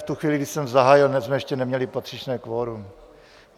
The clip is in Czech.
V tu chvíli, kdy jsem zahájil, tak jsme ještě neměli patřičné kvorum.